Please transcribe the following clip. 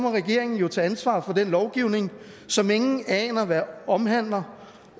regeringen må tage ansvaret for den lovgivning som ingen aner hvad omhandler